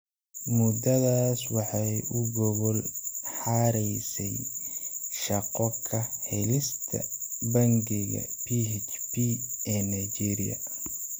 Muddadaas waxay u gogol xaaraysay shaqo ka helista Bangiga PHP ee Nigeria.